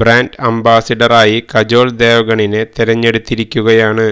brand അംബാസഡറായി കജോൾ ദേവഗണിനെ തിരഞ്ഞെടുത്തിരിക്കുകയാണ്